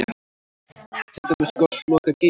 Til dæmis Gosloka-Geysir?